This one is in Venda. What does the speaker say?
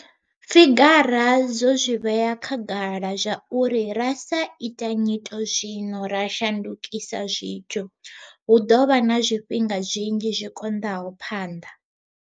Figara dzo zwi vhea khagala zwauri ra sa ita nyito zwino ra shandukisa zwithu, hu ḓo vha na zwifhinga zwinzhi zwi koṋdaho phanḓa.